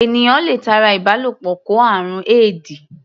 Ènìyàn le tara ìbálòpọ̀ kó àrùn éèdì.